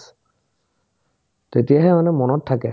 তেতিয়াহে মানে মনত থাকে